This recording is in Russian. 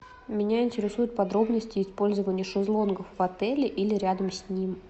меня интересуют подробности использования шезлонгов в отеле или рядом с ним